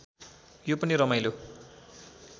यो पनि रमाइलो